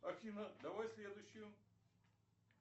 афина давай следующую